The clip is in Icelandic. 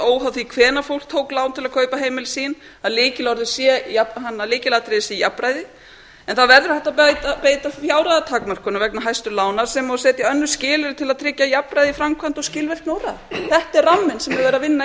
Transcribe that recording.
óháð því hvenær fólk tók lán til að kaupa heimili sín að lykilatriðið sé jafnræði en það verður að vera hægt að beita takmörkunum vegna hæstu lána sem og setja önnur skilyrði til að tryggja jafnræði í framkvæmd og skilvirkni úrræða þetta er ramminn sem verið er að vinna